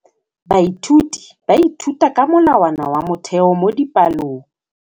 Baithuti ba ithuta ka molawana wa motheo mo dipalong.